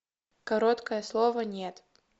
короткое слово нет